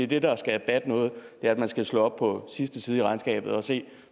det der skal batte noget er at man skal slå op på sidste side i regnskabet og se